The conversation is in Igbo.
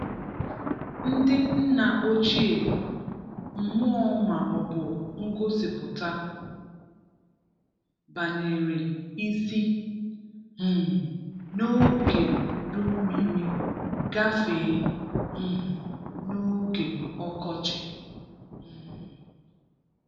Ndị nna ochie, mmụọ ma ọbụ ngosipụta banyere isi um n’oge udummiri gafee um n’oge ọkọchi um.